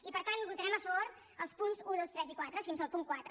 i per tant votarem a favor els punts un dos tres i quatre fins al punt quatre